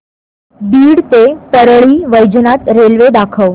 बीड ते परळी वैजनाथ रेल्वे दाखव